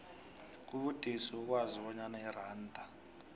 kubudisi ukwazi bonyana iranda